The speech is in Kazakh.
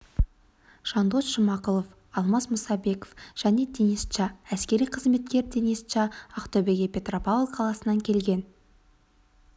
жандос жұмағұлов алмас мұсабеков және денис ча әскери қызметкер денис ча ақтөбеге петропавл қаласынан келген